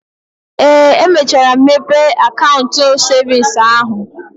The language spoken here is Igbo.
Ee, emechara m mepee akaụntụ cevins ahụ.